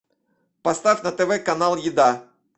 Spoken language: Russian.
поставь на тв канал еда